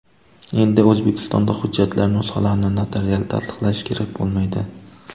Endi O‘zbekistonda hujjatlar nusxalarini notarial tasdiqlash kerak bo‘lmaydi.